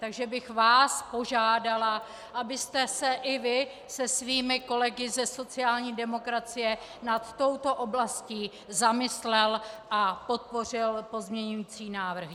Takže bych vás požádala, abyste se i vy se svými kolegy ze sociální demokracie nad touto oblastí zamyslel a podpořil pozměňovací návrhy.